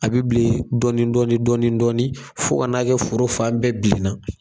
A bi bilen dɔɔni dɔɔni dɔɔni dɔɔni fo ka n'a kɛ foro fan bɛɛ bilenna